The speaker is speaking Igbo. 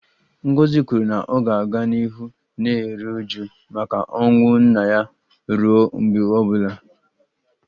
Ngozi kwuru na ọ ga-aga n'ihu na-eru uju maka ọnwụ nna ya ruo mgbe ọ bụla